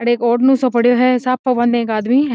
अड़े एक ओढ़ने सो पड़ो है साफा बांदे एक आदमी है।